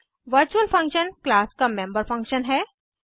virtual function class का member function है